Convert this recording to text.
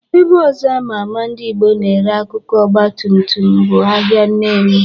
Ebe ọzọ ama ama ndị Ịgbo na-ere akụkụ Ọgbatumtum bụ ahịa Nnewi.